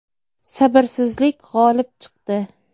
Sabrsizlik g‘olib chiqdi.